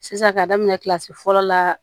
Sisan ka daminɛ kilasi fɔlɔ la